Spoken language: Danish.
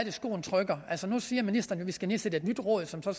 er skoen trykker altså nu siger ministeren jo vi skal nedsætte et nyt råd som så